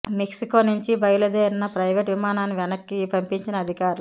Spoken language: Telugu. మెక్సికో నుంచి బయలు దేరిన ప్రైవేటు విమానాన్ని వెనక్కి పంపించిన అధికారులు